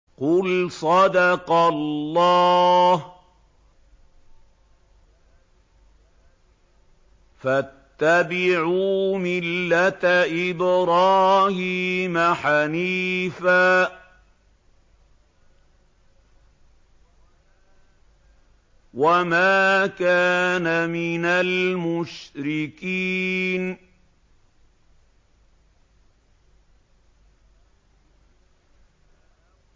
قُلْ صَدَقَ اللَّهُ ۗ فَاتَّبِعُوا مِلَّةَ إِبْرَاهِيمَ حَنِيفًا وَمَا كَانَ مِنَ الْمُشْرِكِينَ